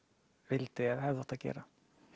vildi eða hefði átt að gera